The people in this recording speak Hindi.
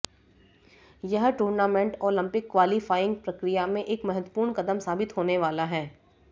यह टूर्नामेंट ओलंपिक क्वालीफाइंग प्रक्रिया में एक महत्वपूर्ण कदम साबित होने वाला है